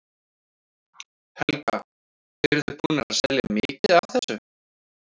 Helga: Eruð þið búnir að selja mikið af þessu?